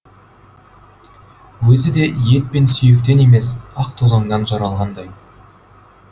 өзі де ет пен сүйектен емес ақ тозаңнан жаралғандай